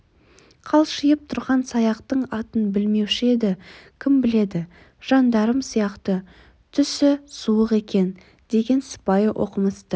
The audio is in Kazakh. қалшиып тұрған саяқтың атын білмеуші еді кім біледі жандарм сияқты түсі суық екен деген сыпайы оқымысты